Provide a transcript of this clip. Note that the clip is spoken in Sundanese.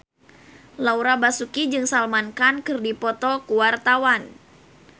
Laura Basuki jeung Salman Khan keur dipoto ku wartawan